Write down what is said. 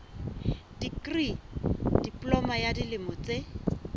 dikri diploma ya dilemo tse